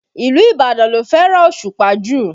Ìlú Ibadan ló fẹ́ràn Òṣùpá jù